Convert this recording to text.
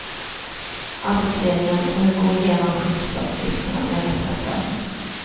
Arbetsledningen får nu gå igenom skyddsföreskrifterna med reparatörerna.